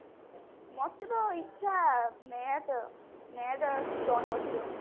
ମତେ ତ ଇଚ୍ଛା net net ଆଉ stone ବସିଥିବ